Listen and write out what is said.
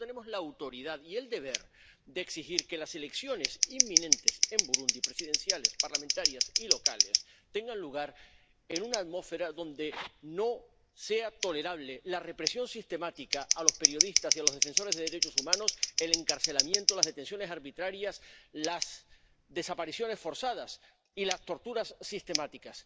Por tanto, tenemos la autoridad y el deber de exigir que las elecciones inminentes en Burundi ⸻presidenciales, parlamentarias y locales⸻ tengan lugar en una atmósfera donde no sean tolerables la represión sistemática a los periodistas y a los defensores de los derechos humanos, el encarcelamiento, las detenciones arbitrarias, las desapariciones forzadas y las torturas sistemáticas.